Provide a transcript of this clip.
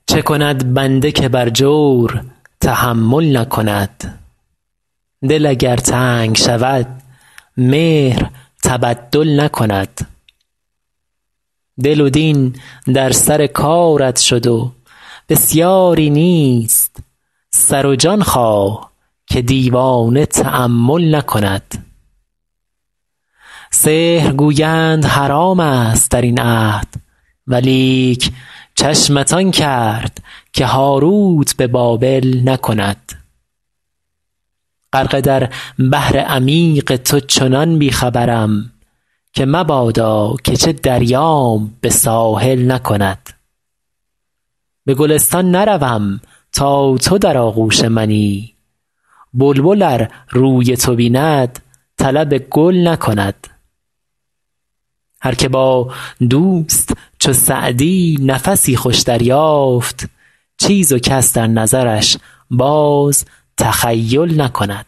چه کند بنده که بر جور تحمل نکند دل اگر تنگ شود مهر تبدل نکند دل و دین در سر کارت شد و بسیاری نیست سر و جان خواه که دیوانه تأمل نکند سحر گویند حرام ست در این عهد ولیک چشمت آن کرد که هاروت به بابل نکند غرقه در بحر عمیق تو چنان بی خبرم که مبادا که چه دریام به ساحل نکند به گلستان نروم تا تو در آغوش منی بلبل ار روی تو بیند طلب گل نکند هر که با دوست چو سعدی نفسی خوش دریافت چیز و کس در نظرش باز تخیل نکند